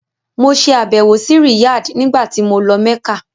Mo ṣe àbẹ̀wò sí Riyadh nígbàtí mo lọ Mẹ́kà.